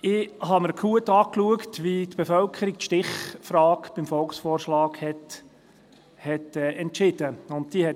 Ich habe mir gut angeschaut, wie die Bevölkerung die Stichfrage beim Volksvorschlag entschieden hat.